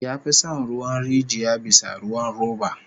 Ya fi son ruwan rijiya bisa ruwan roba